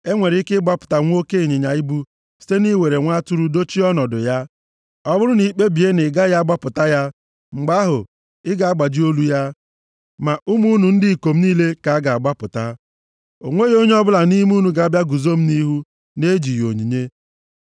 E nwere ike ịgbapụta nwa oke ịnyịnya ibu site nʼiwere nwa atụrụ dochie nʼọnọdụ ya. Ọ bụrụ na i kpebie na ị gaghị agbapụta ya, mgbe ahụ, ị ga-agbaji olu ya. Ma ụmụ unu ndị ikom niile ka a ga-agbapụta. “O nweghị onye ọbụla nʼime unu ga-abịa guzo m nʼihu na-ejighị onyinye.